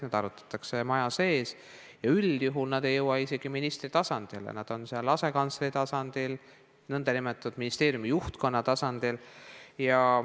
Neid arutatakse maja sees ja üldjuhul ei jõua need isegi ministrini, tavaliselt jäävad need asekantsleri tasandile, nn ministeeriumi juhtkonna tasandile.